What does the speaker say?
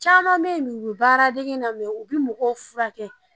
Caman bɛ yen, u bɛ baara dengenna, mɛ u bɛ mɔgɔw furakɛ.